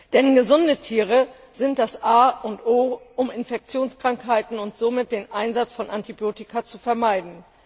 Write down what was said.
Denn gesunde Tiere sind das A und O, um Infektionskrankheiten und somit den Einsatz von Antibiotika zu vermeiden.